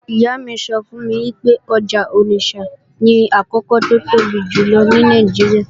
Ìyá mi sọ fún mi pé ọjà Onitsha ni àkọ́kọ́ tó tóbi jùlọ ní Nàìjíríà